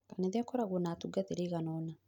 Kanitha ĩkoragwo na atungatĩri aiganona.